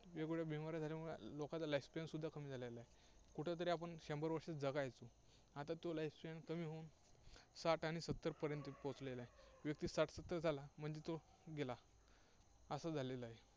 वेगेवगळ्या बिमाऱ्या झाल्यामुळे लोकांचं life span सुद्धा कमी झालेलं आहे. कुठेतरी आपण शंभर वर्षे जगायचो, आता तो life span कमी होऊन साठ आणि सत्तर पर्यंत पोहोचलेला आहे. व्यक्ती साठ सत्तर झाला म्हणजे तो गेला, असं झालेलं आहे.